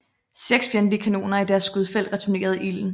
Seks fjendtlige kanoner i deres skudfelt returnerede ilden